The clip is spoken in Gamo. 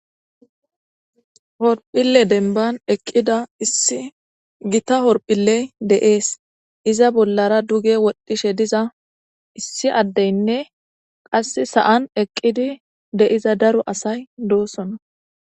horphille denban eqqida issi gita horphilley deees iza bollara duge woddishe diza issi addeynne qass sa7an eqqidi de7iza daro asay doosona